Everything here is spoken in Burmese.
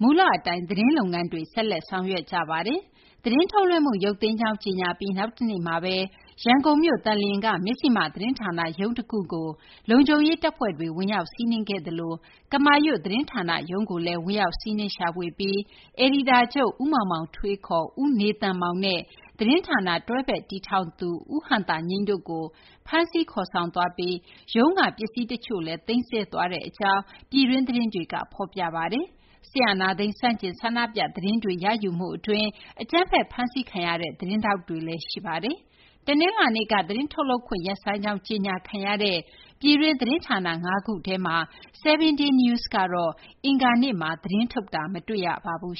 မူလ အတိုင်း သတင်းလုပ်ငန်းတွေ ဆက်လက် ဆောင်ရွက်ကြပါတယ်။ သတင်းထုတ်လွှင့်မှု ရုပ်သိမ်းကြောင်း ကြေညာပြီး နောက်တနေ့မှာဘဲ ရန်ကုန်မြို့ သန်လျင်က မဇ္ဈိမသတင်းဌာန ရုံးတခုကို လုံခြုံရေး တပ်ဖွဲ့တွေ ဝင်ရောက်စီးနင်းခဲ့သလို ကမာရွတ် သတင်းဌာန ရုံးကိုလည်း ဝင်ရောက်စီးနင်း ရှာဖွေပြီး အယ်ဒီတာချုပ် ဦးမောင်မောင်ထွေး (ခေါ်) ဦးနေသန်မောင်နဲ့ သတင်းဌာန တွဲဖက်တည်ထောင်သူ ဦးဟန်သာငြိမ်းတို့ကို ဖမ်းဆီးခေါ်ဆောင်သွားပြီး ရုံးက ပစ္စည်း တချို့လည်း သိမ်းဆည်းသွားကြောင်း ပြည်တွင်း သတင်းတွေက ဖော်ပြကြပါတယ်။ စစ်အာဏာသိမ်း ဆန့်ကျင် ဆန္ဒပြ သတင်းတွေ ရယူမှု အတွင်း အကြမ်းဖက် ဖမ်းဆီးခံရတဲ့ သတင်းထောက်တွေလည်း ရှိပါတယ်။ တနလာၤနေ့က သတင်းထုတ်လုပ်ခွင့် ရပ်ဆိုင်းကြောင်း ကြေညာခံရတဲ့ ပြည်တွင်း သတင်းဌာန ၅ ခုထဲမှာ 7Day News ကတော့ အင်္ဂါနေ့မှာ သတင်းထုတ်တာ မတွေ့ရပါဘူး